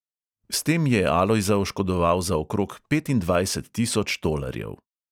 S tem je alojza oškodoval za okrog petindvajset tisoč tolarjev.